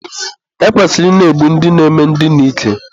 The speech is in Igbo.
e kwesịrị ị na-egbu ndị na-eme ndina ike.